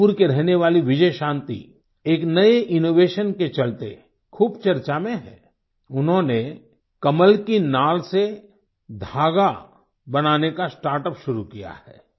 मणिपुर की रहने वाली बिजयशान्ति एक नये इनोवेशन के चलते ख़ूब चर्चा में है उन्होंने कमल की नाल से धागा बनाने का स्टार्ट यूपी शुरू किया है